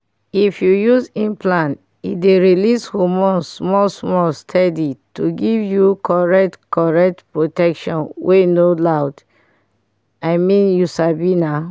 if you use implant e dey release hormone small-small steady to give you correct correct protection wey no loud.i mean you sabi na.